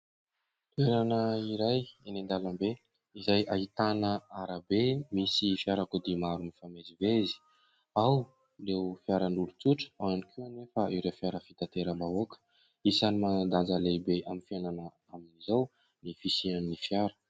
Toerana iray eny an-dalambe izay ahitana arabe misy fiarakodia maro mifamezivezy: ao ireo fiaran'olon-tsotra, ao ihany koa anefa ireo fiara fitanteram-bahoaka. Isany manan-danja lehibe amin'ny fiainana amin'izao ny fisian'ny fiara.